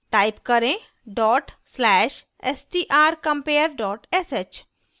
type करें dot slash strcompare dot sh